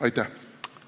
Aitäh!